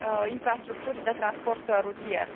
infrastructurii de transport rutier.